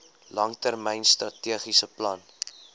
langtermyn strategiese plan